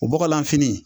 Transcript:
O bɔgɔlanfini